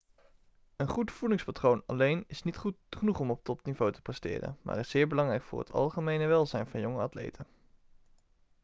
een goed voedingspatroon alleen is niet genoeg om op topniveau te presteren maar is zeer belangrijk voor het algemene welzijn van jonge atleten